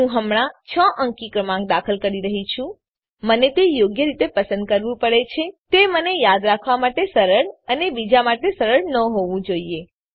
હું હમણાં ૬ અંકી ક્રમાંક દાખલ કરી રહ્યી છું મને તે યોગ્ય રીતે પસંદ કરવું પડે છે તે મને યાદ રાખવા માટે સરળ અને બીજા માટે સરળ ન હોવું જોઈએ